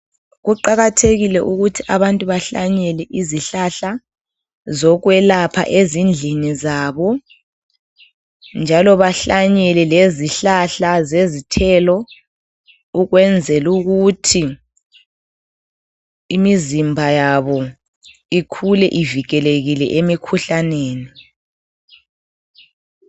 Kuqakathekile ukuthi abantu bahlanyele izihlahla zokwelapha ezindlini zabo njalo bahlanyele lezihlahla zezithelo ukwenzela ukuthi imizimba yabo ukhule ivikelekile emikhuhlaneni